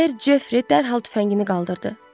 Ser Jefri dərhal tüfəngini qaldırdı.